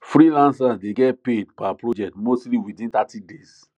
freelancers dey get paid per project mostly within thirty days